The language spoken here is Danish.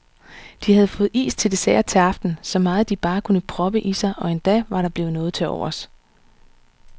De havde fået is til dessert til aften, så meget de bare kunne proppe i sig og endda var der blevet noget til overs.